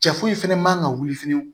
Cɛ foyi fɛnɛ man kan ka wuli fɛnɛ